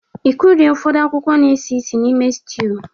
Ị kụrie ụfọdụ akwụkwọ na-esi ísì n'ime sitew?